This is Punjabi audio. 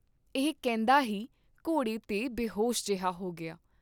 ਇਹ ਕਹਿੰਦਾ ਹੀ ਘੋੜੇ ਤੇ ਬੇਹੋਸ਼ ਜਿਹਾ ਹੋ ਗਿਆ।